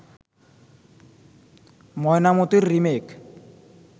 'ময়নামতি'র remake